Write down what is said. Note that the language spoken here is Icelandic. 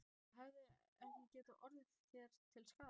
Hefði það ekki getað orðið þér til skaða?